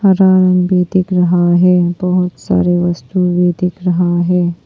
रंग भी दिख रहा है बहुत सारे वस्तु भी दिख रहा है।